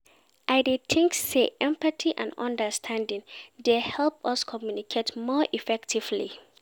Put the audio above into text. I dey think say empathy and understanding dey help us communicate more effectively.